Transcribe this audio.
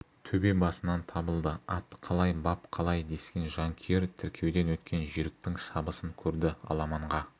төбе басынан табылды ат қалай бап қалай дескен жанкүйер тіркеуден өткен жүйріктің шабысын көрді аламанға